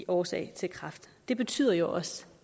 årsag til kræft det betyder jo også